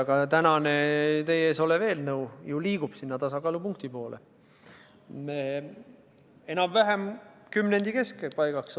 Ka täna teie ees olev eelnõu liigub tasakaalupunkti poole, me oleme enam-vähem kümnendi keskpaigaks tasakaalus tagasi.